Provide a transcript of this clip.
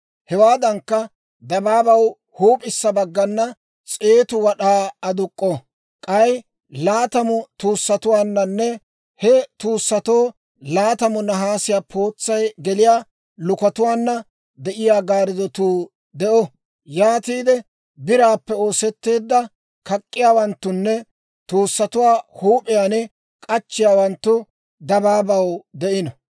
Hewaadankka, dabaabaw huup'issa baggana s'eetu wad'aa aduk'k'o; k'ay laatamu tuussatuwaananne he tuussatoo laatamu nahaasiyaa pootsay geliyaa lukotuwaana de'iyaa gaaridduu de'o. Yaatiide biraappe oosetteedda kak'k'iyaawanttunne tuussatuwaa huup'iyaan k'achchiyaawanttu dabaabaw de'ino.